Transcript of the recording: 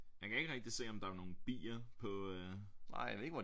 Jeg kan ikke rigtig se om der er nogen bier på øh